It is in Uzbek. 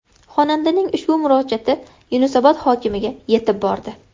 Xonandaning ushbu murojaati Yunusobod hokimiga yetib bordi.